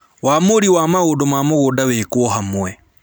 Ūamũri wa maũndũ ma mũgũnda wĩkwo hamwe